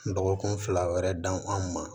Dɔgɔkun fila wɛrɛ dan an ma